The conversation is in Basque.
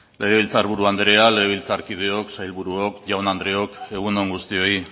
legebiltzar buru anderea legebiltzarkideok sailburuok jaun andreok egun on guztioi